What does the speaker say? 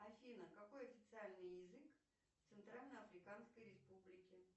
афина какой официальный язык в центральной африканской республике